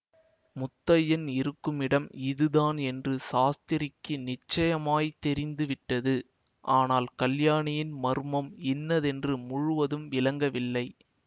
முத்தையன் இருக்குமிடம் இதுதான் என்று சாஸ்திரிக்கு நிச்சயமாய் தெரிந்து விட்டது ஆனால் கல்யாணியின் மர்மம் இன்னதென்று முழுவதும் விளங்கவில்லை